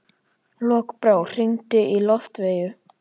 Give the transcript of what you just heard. Lokbrá, hringdu í Loftveigu.